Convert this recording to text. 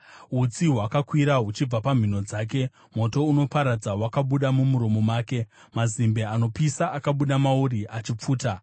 Utsi hwakakwira huchibva mumhino dzake; moto unoparadza wakabuda mumuromo make, mazimbe anopisa akabuda mauri achipfuta.